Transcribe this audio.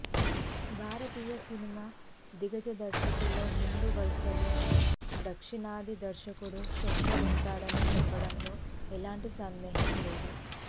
భారతీయ cinema దిగ్గజ దర్శకుల్లో ముందు వరుసలో దక్షిణాది దర్శకుడు శంకర్ ఉంటాడని చెప్పడంలో ఎలాంటి సందేహం లేదు